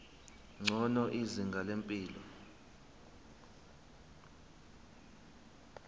ngcono izinga lempilo